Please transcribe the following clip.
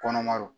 Kɔnɔma don